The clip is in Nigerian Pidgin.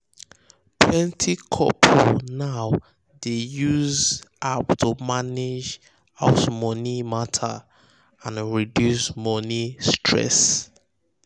um plenty couple now dey use app to manage house money matter and reduce um money stress.